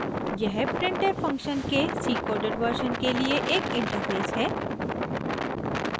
यह printf function के cकोडेड वर्शन के लिए एक इंटरफ़ेस है